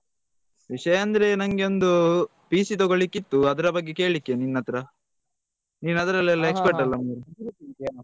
ವಿಷ್ಯ ಅಂದ್ರೆ ನಂಗೊಂದು PC ತಗೋಳಿಕ್ಕೆ ಇತ್ತು ಅದ್ರ ಬಗ್ಗೆ ಕೇಲಿಕ್ಕೆ ನಿನ್ ಹತ್ರ ನಿನ್ ಅದ್ರಲೆಲ್ಲಾ expert ಅಲ ಮಾರಾಯ.